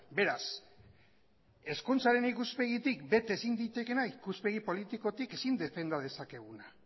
beraz hezkuntzaren ikuspegitik bete ezin litekeena ikuspegi politikotik ezin defenda dezakeguna